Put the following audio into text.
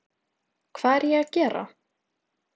Hvað er ég að gera?